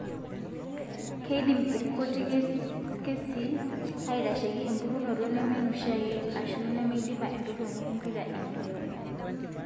Keidim irkuti kesii aitasheiki empukunoto nemeneoshiake ashu nemeidipa entoroni empira eneural.